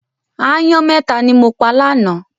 Aáyán mẹ́ta ni mo pa lánàá.